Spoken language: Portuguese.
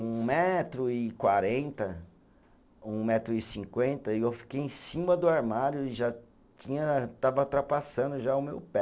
Um metro e quarenta, um metro e cinquenta, e eu fiquei em cima do armário e já tinha, estava ultrapassando já o meu pé.